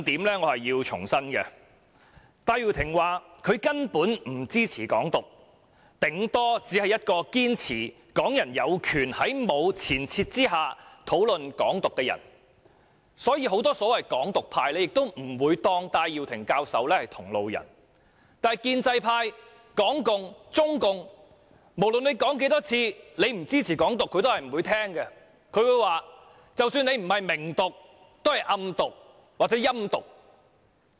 戴耀廷教授表示，他根本不支持"港獨"，頂多只是一個堅持港人有權在沒有前設下討論"港獨"的人，所以很多所謂"港獨"派人士也不會把戴耀廷教授視為同路人，但無論他說多少次不支持"港獨"，建制派、港共、中共也是不會聽的，他們會說，即使他不是"明獨"，也是"暗獨"或"陰獨"。